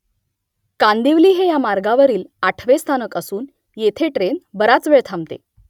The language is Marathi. कांदिवली हे या मार्गावरील आठवे स्थानक असून येथे ट्रेन बराच वेळ थांबते